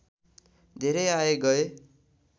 धेरै आए गए